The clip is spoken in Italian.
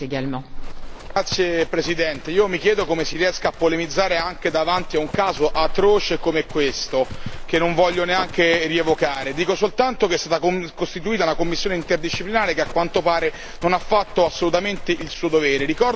Signora presidente, onorevoli colleghi, io mi chiedo come si riesca a polemizzare anche davanti a un caso atroce come questo, che non voglio neanche rievocare. Dico soltanto che è stata costituita una commissione interdisciplinare che a quanto pare non ha fatto assolutamente il suo dovere.